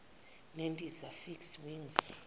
nendiza fixed wing